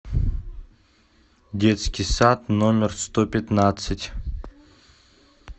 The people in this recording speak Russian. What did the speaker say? детский сад номер сто пятнадцать